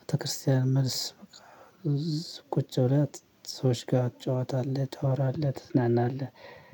ቤተክርስቲያን መልስ በቃ። ቁጭ ብለህ ሰዎች ጋር ትጫወታለህ ታወራለህ ትዝናናለህ።